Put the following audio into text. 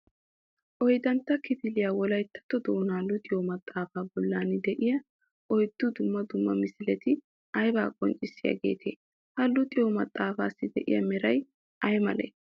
Oyiddantta kifiliyaa Wolayittatto doonaa luxiyoo maxaafaa bollan de'iyaa oyiddu dumma dumma misileti ayibaa qonccissiyaageetee? Ha luxiyoo maxaafaassi de'iyaa merayi ayimalee?